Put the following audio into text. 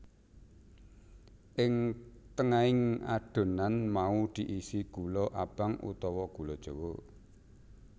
Ing tengahing adonan mau diisi gula abang utawa gula jawa